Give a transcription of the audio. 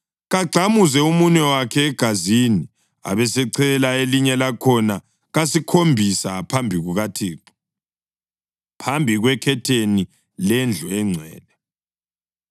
Kagxamuze umunwe wakhe egazini, abesechela elinye lakhona kasikhombisa phambi kukaThixo, phambi kwekhetheni lendlu engcwele.